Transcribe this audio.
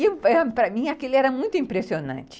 E, para mim, aquilo era muito impressionante.